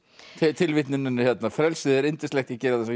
tilvitnunin hérna frelsið er yndislegt ég geri það